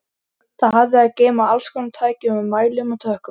Það hafði að geyma allskonar tæki með mælum og tökkum.